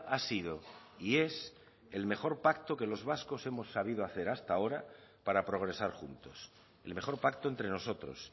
ha sido y es el mejor pacto que los vascos hemos sabido hacer hasta ahora para progresar juntos el mejor pacto entre nosotros